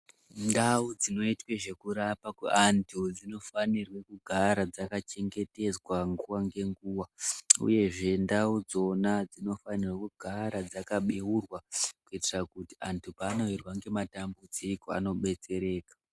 Ndau dzinoitwe zvekurapwa kweandu dzinofanirwe kugara dzakachengetedzwa nguwa nenguwa uyezve ndau dzona dzinofanirwa kugara dzakabeurwa kuitira kuti antu paanowirwa ngematambudziko anobetsereka.